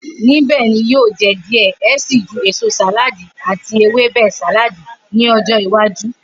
Nibẹ ni yio je diẹ ẹ sii ju eso saladi ati Ewebe saladi ni ojo iwaju.